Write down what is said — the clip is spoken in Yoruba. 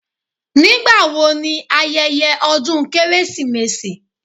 Nígbà wo ni ayẹyẹ ọdún Kérésìmesì